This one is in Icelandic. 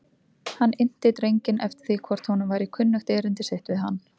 Hann innti drenginn eftir því hvort honum væri kunnugt erindi sitt við hann.